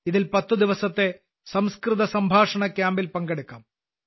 ഇതിൽ 10 ദിവസത്തെ സംസ്കൃത സംഭാഷണ ശിബിരത്തിൽ പങ്കെടുക്കാം